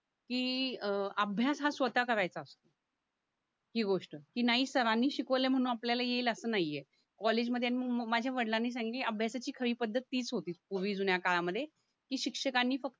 की अं अभ्यास हा स्वतः करायचं ही गोष्ट ही नाही सरांनी शिकवलं म्हणून आपल्याला येईल असं नायी ये कॉलेजमध्ये आणि म म माझ्या वडलांनी सांगि की अभ्यासाची खरीपद्धतीच होती पूर्वी जुन्या काळामध्ये की शिक्षकांनी फक